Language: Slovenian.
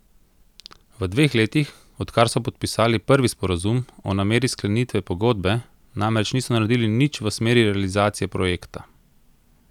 V dveh letih, odkar so podpisali prvi sporazum o nameri sklenitve pogodbe namreč niso naredili nič v smeri realizacije projekta.